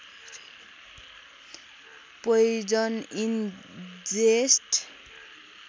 poison in जेस्ट